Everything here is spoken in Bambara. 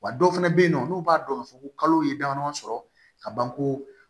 Wa dɔw fana bɛ yen nɔ n'u b'a dɔn k'a fɔ ko kalo ye damadɔ sɔrɔ ka ban ko